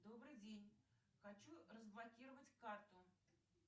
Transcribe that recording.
добрый день хочу разблокировать карту